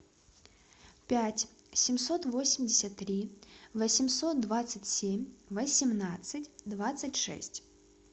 пять семьсот восемьдесят три восемьсот двадцать семь восемнадцать двадцать шесть